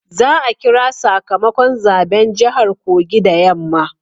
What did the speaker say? Za a kira sakamakon zaben jahar Kogi da yamma